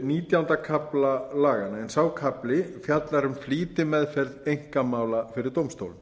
nítjánda kafla laganna en sá kafli fjallar um flýtimeðferð einkamála fyrir dómstólum